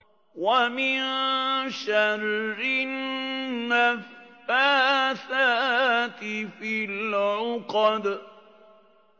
وَمِن شَرِّ النَّفَّاثَاتِ فِي الْعُقَدِ